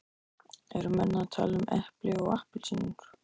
Eru menn að tala um epli og appelsínur?